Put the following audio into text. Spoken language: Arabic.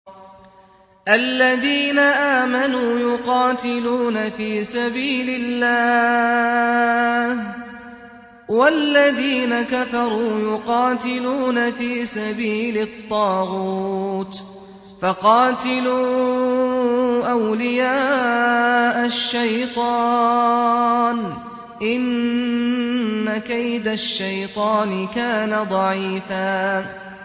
الَّذِينَ آمَنُوا يُقَاتِلُونَ فِي سَبِيلِ اللَّهِ ۖ وَالَّذِينَ كَفَرُوا يُقَاتِلُونَ فِي سَبِيلِ الطَّاغُوتِ فَقَاتِلُوا أَوْلِيَاءَ الشَّيْطَانِ ۖ إِنَّ كَيْدَ الشَّيْطَانِ كَانَ ضَعِيفًا